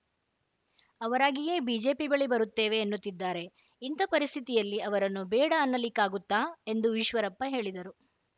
ಅವರಾಗಿಯೇ BJP ಬಳಿ ಬರುತ್ತೇವೆ ಎನ್ನುತ್ತಿದ್ದಾರೆ ಇಂಥ ಪರಿಸ್ಥಿತಿಯಲ್ಲಿ ಅವರನ್ನು ಬೇಡ ಅನ್ನಲಿಕ್ಕಾಗುತ್ತಾ ಎಂದು ಈಶ್ವರಪ್ಪ ಹೇಳಿದರು